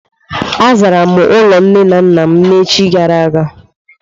Azara m ime ụlọ nne na nna m echi gara aga.